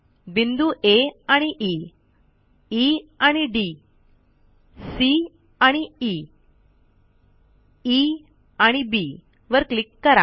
बिंदू आ आणि ई Eआणि डी Cआणि ई Eआणि बी वर क्लिक करा